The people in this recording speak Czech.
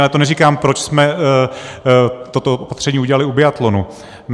Ale to neříkám, proč jsme toto opatření udělali u biatlonu.